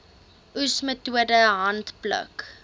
oes metode handpluk